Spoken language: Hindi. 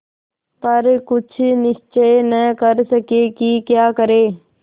पर कुछ निश्चय न कर सके कि क्या करें